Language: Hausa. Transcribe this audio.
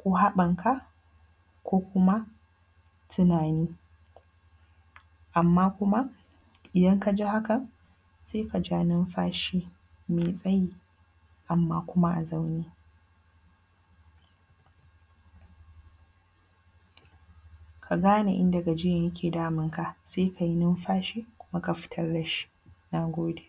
ko haɓanka ko kuma tunani amma kuma idan kaji haka sai kaja nunfashi mai tsayi amma kuma a zaune, ka gane inda gajiyan yake damunka sai kayi nunfashi kuma ka fitar da shi, na gode.